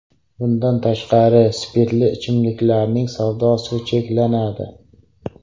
Bundan tashqari, spirtli ichimlikning savdosi cheklanadi.